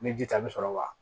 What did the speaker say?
Ni ji ta bɛ sɔrɔ wa